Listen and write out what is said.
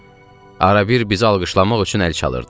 Arabir bizi alqışlamaq üçün əl çalırdı.